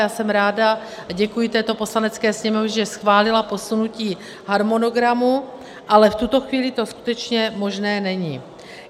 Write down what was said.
Já jsem ráda a děkuji této Poslanecké sněmovně, že schválila posunutí harmonogramu, ale v tuto chvíli to skutečně možné není.